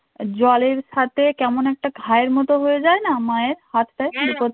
জলের সাথে কেমন একটা খায়ের মতো হয়ে যায় না মায়ের হাতে